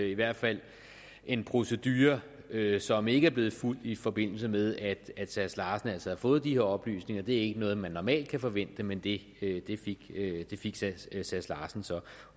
i hvert fald en procedure som ikke er blevet fulgt i forbindelse med at herre sass larsen altså har fået de her oplysninger det er ikke noget man normalt kan forvente men det fik herre sass larsen så